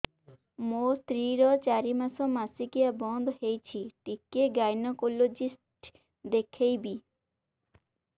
ମୋ ସ୍ତ୍ରୀ ର ଚାରି ମାସ ମାସିକିଆ ବନ୍ଦ ହେଇଛି ଟିକେ ଗାଇନେକୋଲୋଜିଷ୍ଟ ଦେଖେଇବି